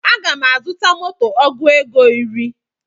Aga m azuta moto ọgụ ego iri